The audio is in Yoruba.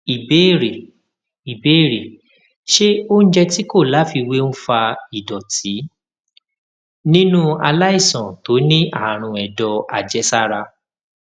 ìbéèrè ìbéèrè ṣé oúnjẹ tí kò láfiwé ń fa ìdòtí nínú aláìsàn tó ní àrùn èdò àjẹsára